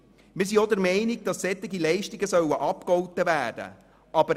Wir sind auch der Meinung, dass solche Leistungen abgegolten werden sollen.